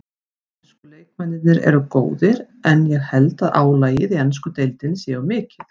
Ensku leikmennirnir eru góðir en ég held að álagið í ensku deildinni sé of mikið.